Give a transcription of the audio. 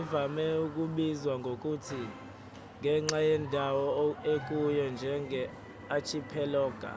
ivame ukubizwa ngokuthi ngenxa yendawo ekuyo njenge-"archipelago